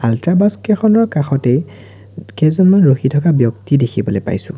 Ultra বাছকেইখনৰ কাষতে কেইজনমান ৰখি থকা ব্যক্তি দেখিবলৈ পাইছোঁ।